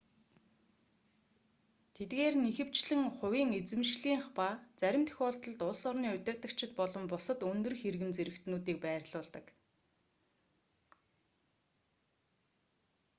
тэдгээр нь ихэвчлэн хувийн эзэмшлийнх ба зарим тохиолдолд улс орны удирдагчид болон бусад өндөр хэргэм зэрэгтнүүдийг байрлуулдаг